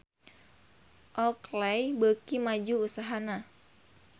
Oakley beuki maju usahana